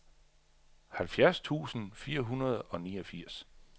halvfjerds tusind fire hundrede og niogfirs